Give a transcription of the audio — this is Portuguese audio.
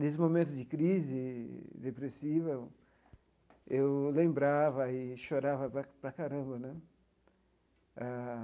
Nesse momento de crise depressiva, eu eu lembrava e chorava para para caramba né eh.